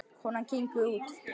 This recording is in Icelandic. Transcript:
Konan gengur út.